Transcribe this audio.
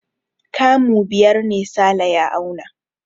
Kamu biyar ne Sale ya auna.